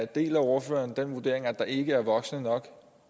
deler ordføreren den vurdering at der ikke er voksne nok